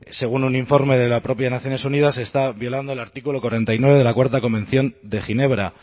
según un informe de la propia naciones unidas está violando el artículo cuarenta y nueve de la cuarto convención de ginebra